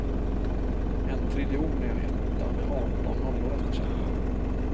En triljon är en etta med arton nollor efter sig.